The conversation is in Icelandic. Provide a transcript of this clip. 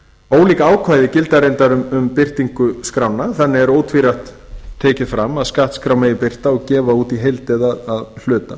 ólík ákvæði gilda reyndar um birtingu skránna þannig er ótvírætt tekið fram að skattskrá megi birta og gefa út í heild eða að hluta